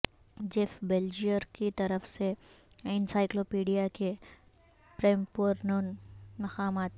Jeff Belger کی طرف سے انسائیکلوپیڈیا کے پریمپورن مقامات